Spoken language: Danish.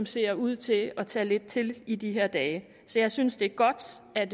ser ud til at tage lidt til i de her dage så jeg synes det er godt at